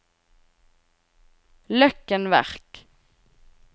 Løkken Verk